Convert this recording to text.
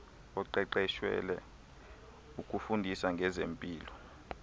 oqeqeshelwe ukufundisa ngezempilo